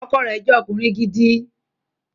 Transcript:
Ọkọ rẹ̀ jẹ́ ọkùnrin gidi